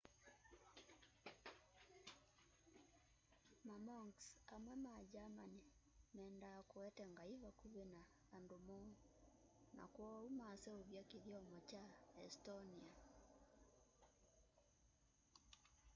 mamonks amwe ma german meenda kũete ngaĩ vakũvĩ na andũ moo na kwoũ maseũvya kĩthyomo kya estonĩan